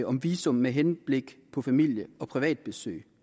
om visum med henblik på familie og privatbesøg